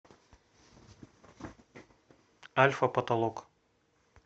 альфа потолок